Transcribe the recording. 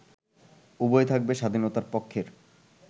উভয় থাকবে স্বাধীনতার পক্ষের